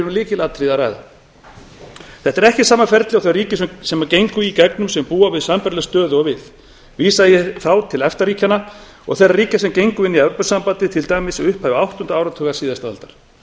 að ræða þetta er ekki sama ferlið og þau ríki gengu í gegnum sem búa við sambærilega stöðu og við vísa ég þá til efta ríkjanna og þeirra ríkja sem gengu inn í evrópusambandið til dæmis í upphafi áttunda áratugar síðustu aldar